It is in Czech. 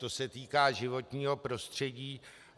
To se týká životního prostředí.